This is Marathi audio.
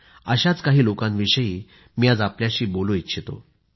अशाच काही लोकांविषयी मी आज आपल्याशी बोलू इच्छितो